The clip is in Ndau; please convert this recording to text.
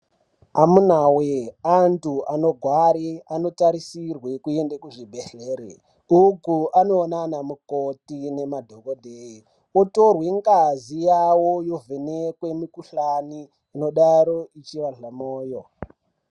Amunaawee antu anogware anotarisirwe kuende kuzvibhehlere uku anoonekwe nemadhokodheye otorwe ngazi yavo ovhenekwe mukuhlani unodaro veivarhe moyo.